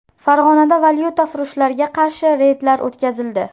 Farg‘onada valyutafurushlarga qarshi reydlar o‘tkazildi.